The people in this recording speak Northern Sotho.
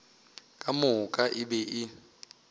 ka moka e be e